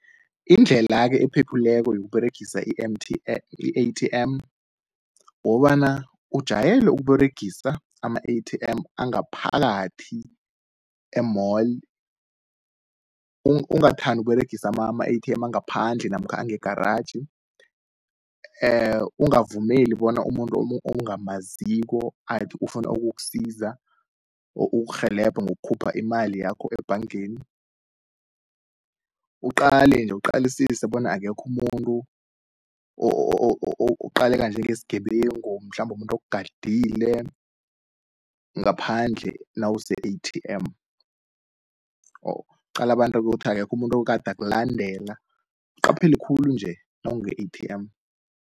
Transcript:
Indlela-ke ephephileko yokuberegisa i-A_T_M, wokobana ujayele ukUberegisa ama i-A_T_M, angaphakathi e-mall. Ungathandu ukuberegisa ama-A_T_M angaphandle namkha angegaratjhi. Ungavumeli bona umuntu ongamaziko athi ufuna ukusiza, ukurhelebha ngokukhupha imali yakho ebhangeni. Uqale-nje uqalisise bona akekhu umuntu oqaleka njenge sgebengu, mhlambu umuntu ogadile ngaphandle nawuse-A_T_M qala abantu kuthi akekho umuntu ogada akulandela, uqaphele khulu-nje nawunge-A_T_M.